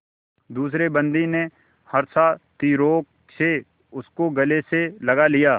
दूसरे बंदी ने हर्षातिरेक से उसको गले से लगा लिया